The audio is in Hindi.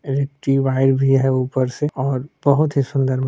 रिक्टी वायर भी है ऊपर से और बहुत ही सुन्दर मंदिर --